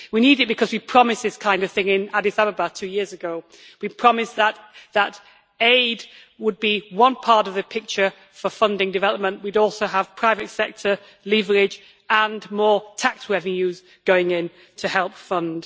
We need it because we promised this kind of thing in Addis Ababa two years ago. We promised that aid would be one part of the picture for funding development, and that we would also have private sector leverage and more tax revenues going in to help fund.